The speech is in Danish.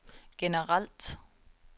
generelt